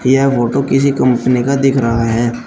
यह फोटो किसी कंपनी का दिख रहा है।